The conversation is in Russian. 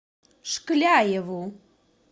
шкляеву